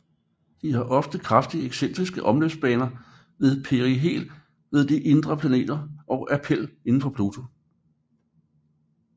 De har ofte kraftigt excentriske omløbsbaner med perihel ved de indre planeter og aphel udenfor Pluto